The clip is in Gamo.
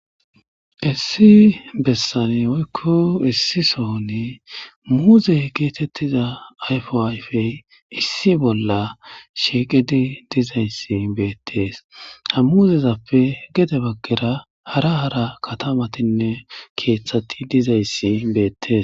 issi bessane woykko issi sooni muuzey geetettiza ayfo ayfey issi bolla sheeqedi dizayssi beettees ha muuzezappe gede baggera hara hara katamatinne keeththati dizayssi beettees